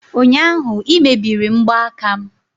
ụnyaahụ ị emebiri mgbaaka m!